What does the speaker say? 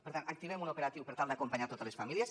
per tant activem un operatiu per tal d’acompanyar totes les famílies